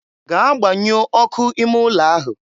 gaa gbanyuo ọkụ ime ụlọ ahụ!